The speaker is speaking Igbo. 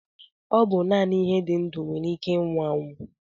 Ọ bụ naanị ihe dị ndụ nwere ike ịnwụ anwụ